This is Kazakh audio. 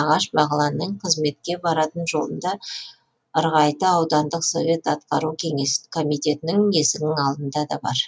ағаш бағланның қызметке баратын жолында ырғайты аудандық совет атқару комитетінің есігінің алдында да бар